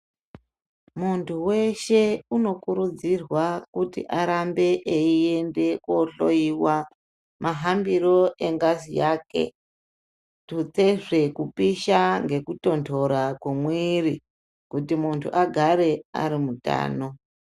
Muntu veshe unokurudzirwa kuti arambe eiende kohloiwa mahambiro engazi yake. Tutsezve kupisha ngekutonhora kwemwiri kuti muntu agare ari mutano.